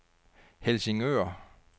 Helsingør